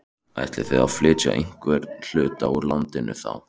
Ætlið þið að flytja einhvern hluta úr landi þá?